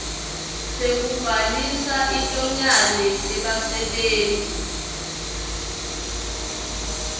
sekubhalisa inyonyane yebasebenti